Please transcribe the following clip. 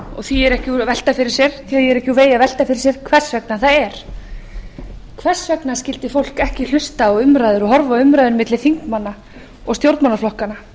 því er ekki úr vegi að velta fyrir sér hvers vegna það er hvers vegna skyldi fólk ekki hlusta og horfa á umræður milli þingmanna og stjórnmálaflokkanna